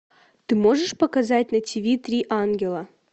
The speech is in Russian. ты можешь показать на тв три ангела